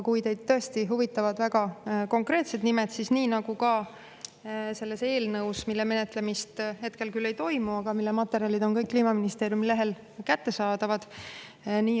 Kui teid tõesti huvitavad väga konkreetsed nimed, siis selle eelnõu menetlemist hetkel küll ei toimu, aga selle materjalid on kõik Kliimaministeeriumi lehel kättesaadavad.